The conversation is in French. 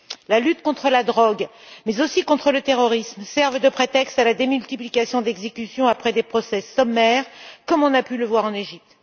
La lutte contre la drogue, mais aussi contre le terrorisme, sert de prétexte à la démultiplication des exécutions après des procès sommaires, comme on a pu le voir en Égypte.